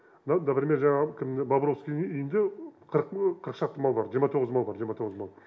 но например жаңағы кімнің мавровскийдің үйінде шақты мал бар мал бар мал